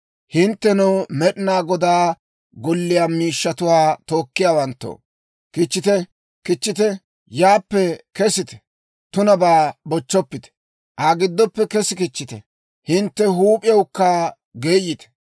Hinttenoo Med'inaa Godaa golliyaa miishshatuwaa tookkiyaawanttoo, kichchite, kichchite; yaappe kesite. Tunabaa bochchoppite; Aa giddoppe kessi kichchite. Hintte huup'iyawukka geeyite.